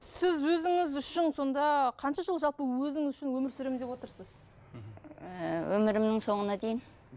сіз өзіңіз үшін сонда қанша жыл жалпы өзіңіз үшін өмір сүремін деп отырсыз мхм ы өмірімнің соңына дейін